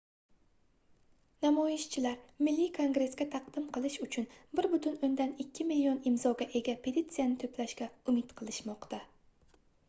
namoyishchilar milliy kongressga taqdim qilish uchun 1,2 million imzoga ega petitsiyani toʻplashga umid qilishmoqda